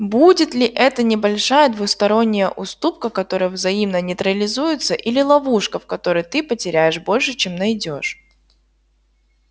будет ли это небольшая двусторонняя уступка которая взаимно нейтрализуется или ловушка в которой ты потеряешь больше чем найдёшь